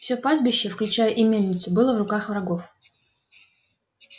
всё пастбище включая и мельницу было в руках врагов